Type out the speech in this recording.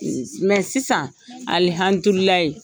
Mɛ sisan